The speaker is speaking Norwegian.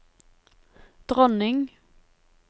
dronning